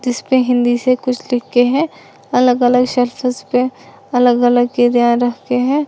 इसपे हिंदी से कुछ लिख के है अलग अलग सर्फेस पे अलग अलग चीजें रखे है।